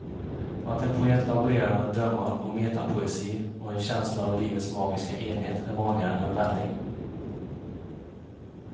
Att en poet laborerar med drömmar och metapoesi och en känsla av livets magiska enhet är vanligare än välling.